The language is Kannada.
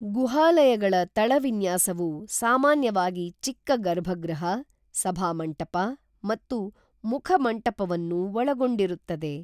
ಗುಹಾಲಯಗಳ ತಳವಿನ್ಯಾಸವು ಸಾಮಾನ್ಯವಾಗಿ ಚಿಕ್ಕ ಗರ್ಭಗೃಹ, ಸಭಾಮಂಟಪ ಮತ್ತು ಮುಖಮಂಟಪವನ್ನು ಒಳಗೊಂಡಿರುತ್ತದೆ.